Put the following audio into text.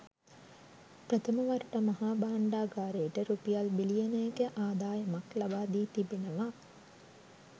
ප්‍රථම වරට මහා භාණ්ඩාගාරයට රුපියල් බිලියනයක ආදායමක් ලබාදී තිබෙනවා.